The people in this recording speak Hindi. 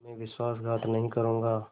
मैं विश्वासघात नहीं करूँगा